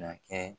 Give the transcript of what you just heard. Na kɛ